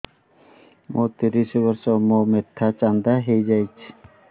ମୋ ତିରିଶ ବର୍ଷ ମୋ ମୋଥା ଚାନ୍ଦା ହଇଯାଇଛି